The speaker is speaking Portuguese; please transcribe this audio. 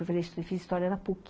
Eu fiz história na puqui.